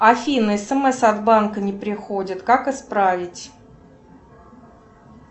афина смс от банка не приходят как исправить